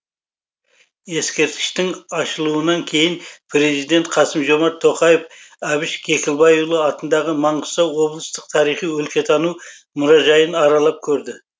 ескерткіштің ашылуынан кейін президент қасым жомарт тоқаев әбіш кекілбайұлы атындағы маңғыстау облыстық тарихи өлкетану мұражайын аралап көрді